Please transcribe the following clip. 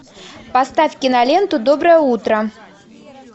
поставь киноленту доброе утро